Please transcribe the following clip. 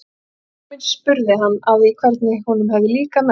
Móðir mín spurði hann að því hvernig honum hefði líkað messan.